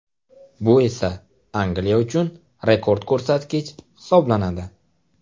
Bu esa Angliya uchun rekord ko‘rsatkich hisoblanadi.